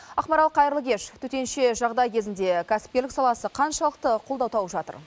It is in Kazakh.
ақмарал қайырлы кеш төтенше жағдай кезінде кәсіпкерлік саласы қаншалықты қолдау тауып жатыр